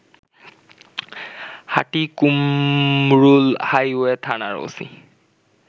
Hatikumrul highway থানার OC